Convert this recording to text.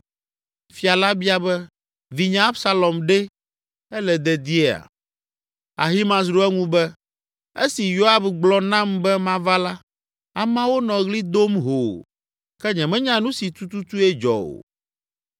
Fia la bia be, “Vinye Absalom ɖe? Ele dediea?” Ahimaaz ɖo eŋu be, “Esi Yoab gblɔ nam be mava la, ameawo nɔ ɣli dom hoo, ke nyemenya nu si tututue dzɔ o.”